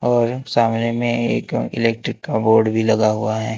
और सामने मे एक इलेक्ट्रिक का बोर्ड भी लगा हुआ है।